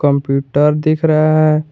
Computer दिख रहा है।